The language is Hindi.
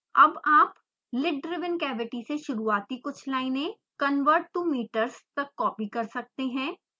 अब आप lid driven cavity से शुरूआती कुछ लाइनें converttometers तक कॉपी कर सकते हैं